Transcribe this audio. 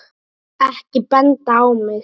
Ekki benda á mig